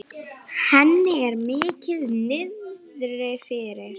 Henni er mikið niðri fyrir.